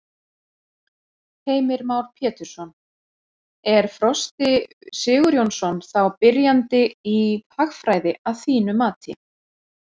Heimir Már Pétursson: Er Frosti Sigurjónsson þá byrjandi í hagfræði að þínu mati?